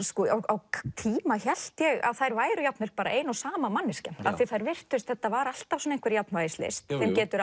á tíma hélt ég að þær væru jafnvel ein og sama manneskjan því þetta var alltaf einhver jafnvægislist þeim getur